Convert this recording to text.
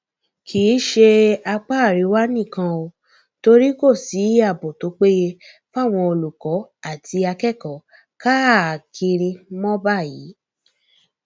kì í ṣe apá àríwá nìkan ò torí kò sí ààbò tó péye fáwọn olùkọ àti akẹkọọ káàkiri mọ báyìí